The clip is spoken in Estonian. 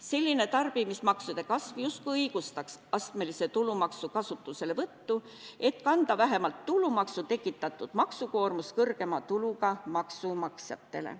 Selline tarbimismaksude kasv justkui õigustaks astmelise tulumaksu kasutuselevõttu, et kanda vähemalt tulumaksu tekitatud maksukoormus kõrgema tuluga maksumaksjatele.